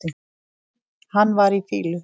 Hann var í fýlu.